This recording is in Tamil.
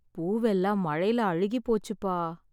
பூவெல்லாம் மழைல அழுகிப் போச்சுப்பா.